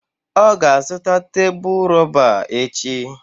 Ọ ga-azụta tebụl rọba echi.